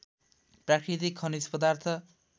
प्राकृतिक खनिज पदार्थ